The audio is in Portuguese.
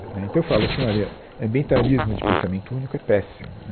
Né então, eu falo assim, olha, ambientalismo de pensamento único é péssimo.